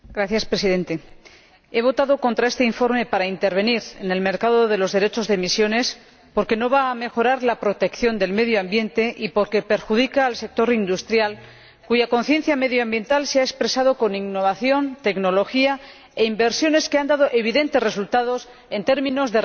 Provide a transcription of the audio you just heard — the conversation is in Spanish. He votado en contra de este informe destinado a intervenir en el mercado de los derechos de emisiones porque no va a mejorar la protección del medio ambiente y porque perjudica al sector industrial, cuya conciencia medioambiental se ha expresado con innovación, tecnología e inversiones que han dado evidentes resultados en términos de reducción de emisiones.